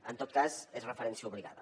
en tot cas n’és referència obligada